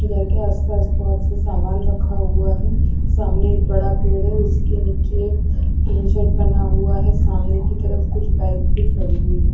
घर के आस पास बोहोत से सामन रखा हुआ है सामने एक बड़ा पेड़ है उसके निचे एक एक ग्रीन शेड बना हुआ है सामने की तरफ कुछ बाइक भी खड़ी हुई है।